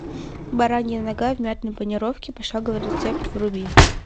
баранья нога в мятной панировке пошаговый рецепт вруби